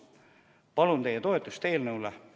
Palun teie toetust eelnõule!